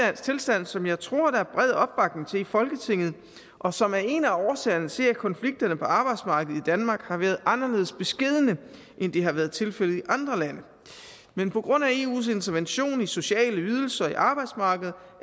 tilstand som jeg tror der er bred opbakning til i folketinget og som er en af årsagerne til at konflikterne på arbejdsmarkedet i danmark har været anderledes beskedne end det har været tilfældet i andre lande men på grund af eus intervention i sociale ydelser og på arbejdsmarkedet